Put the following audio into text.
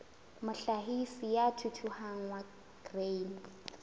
mohlahisi ya thuthuhang wa grain